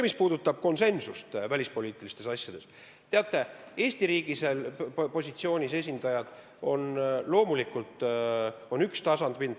Mis puudutab konsensust välispoliitilistes asjades, siis teate, Eesti riigis on loomulikult üks tasapind.